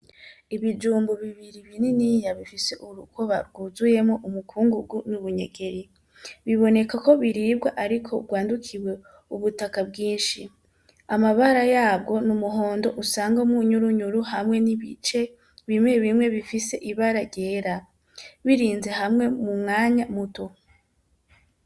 ibijumbu bibiri bininiya bifise urukoba gwuzuyemwo umukungugu n'ubunyegeri; bibonekako bribwa ariko gwandukiwe ubutaka bwinshi. Amabara yabwo n'umuhondo usangamwo ubunyurunyuru hamwe n'ibice bimwe bimwe bifise ibara ryera; birinze hamwe mumwanya muto.